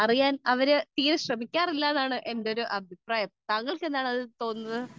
speaker 2 അറിയാൻ അവർ തീരെ ശ്രദ്ധിക്കാറില്ല എന്നതാണ് എന്റെ അഭിപ്രായം താങ്കൾക്ക് എന്താണ് അതിനെ കുറിച്ച് തോന്നുന്നത്